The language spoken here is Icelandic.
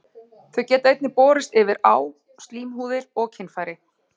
Þau geta einnig borist yfir á slímhúðir og kynfæri.